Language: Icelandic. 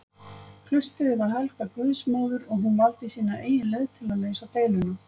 Klaustrið var helgað guðsmóður og hún valdi sína eigin leið til að leysa deiluna.